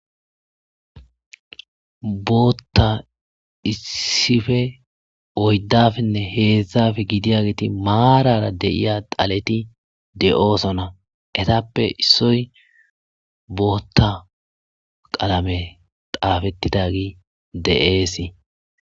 Bota issipe oyidapenee heza giday geti marara dhaleti de'osona izape issoy bota qalame xapetidagey de'esy